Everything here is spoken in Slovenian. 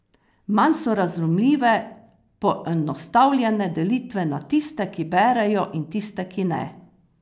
Manj so razumljive poenostavljene delitve na tiste, ki berejo, in tiste, ki ne.